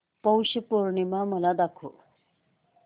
पौष पौर्णिमा मला दाखव